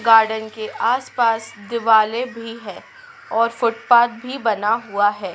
Garden के आसपास दिवालय भी है और फुटपाथ भी बना हुआ है।